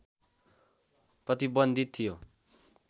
प्रतिबन्धित थियो